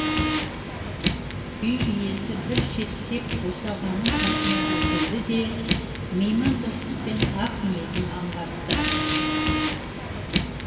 үй иесі бір шеттеп босағаның қасына іркілді де меймандостықпен ақ ниетін аңғартты